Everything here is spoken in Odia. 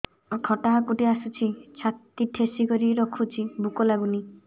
ଖଟା ହାକୁଟି ଆସୁଛି ଛାତି ଠେସିକରି ରଖୁଛି ଭୁକ ଲାଗୁନି